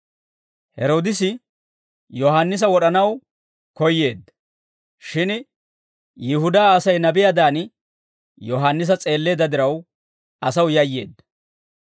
Heroodisi Yohaannisa wod'anaw koyyeedda; shin Yihudaa Asay nabiyaadan Yohaannisa s'eelleedda diraw, asaw yayyeedda.